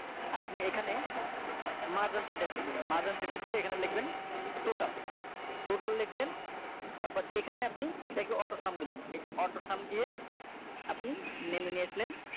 আপনি এখানে merge and select করে দিবেন merge and select করে এখানে লিখবেন total total লিখলেন তারপর এখানে আপনি এটা কে AutoSum দিলেন এই যে AutoSum দিয়ে আপনি নামিয়ে নিয়ে আসলেন